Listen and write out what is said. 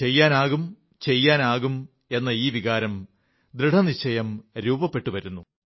ചെയ്യാനാകും ചെയ്യാനാകും എന്ന ഈ വികാരം ദൃഡനിശ്ചയം രൂപപ്പെട്ടുവരുന്നു